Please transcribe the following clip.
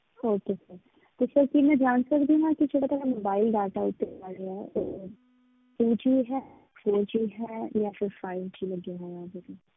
Okay sir ਤੇ sir ਕੀ ਮੈਂ ਜਾਣ ਸਕਦੀ ਹਾਂ ਕਿ ਜਿਹੜਾ ਤੁਹਾਡਾ mobile data ਇਹ ਤੇ ਚੱਲ ਰਿਹਾ ਹੈ ਉਹ two G ਹੈ three G ਹੈ ਜਾਂ ਫਿਰ five G ਲੱਗਿਆ ਹੋਇਆ ਇਹਦੇ ਤੇ